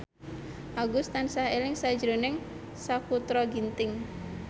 Agus tansah eling sakjroning Sakutra Ginting